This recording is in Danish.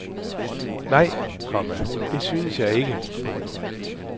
Nej, komma det synes jeg ikke. punktum